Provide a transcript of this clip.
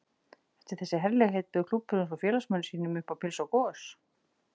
Eftir þessi herlegheit bauð klúbburinn svo félagsmönnum sínum upp á pylsu og gos.